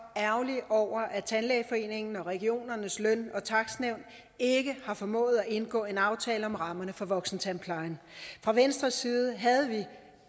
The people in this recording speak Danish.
ærgerlig over at tandlægeforeningen og regionernes lønnings og takstnævn ikke har formået at indgå en aftale om rammerne for voksentandplejen fra venstres side havde vi